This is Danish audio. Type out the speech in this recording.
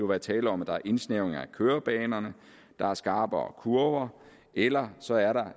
være tale om at der er indsnævringer af kørebanerne der er skarpere kurver eller så er der